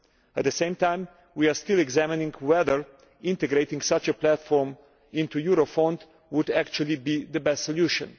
At the same time, we are still examining whether integrating such a platform into Eurofound would actually be the best solution.